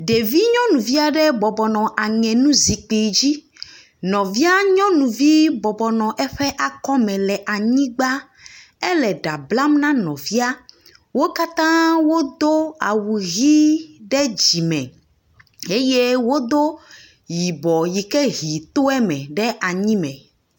Ɖevi nyɔnuvi aɖe bɔbɔ aŋenuzikpui dzi. Nɔvia nyɔnuvi bɔbɔ nɔ eƒe akɔme le anyigba. Ele ɖa blam na nɔvia. Wo katã wodo awu ʋi ɖe dzime eye wodo yibɔ ke ʋi to eme ɖe anyi me.